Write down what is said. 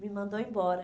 Me mandou embora.